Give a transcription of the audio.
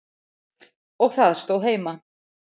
Og það stóð heima.